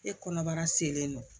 E kɔnɔbara selen non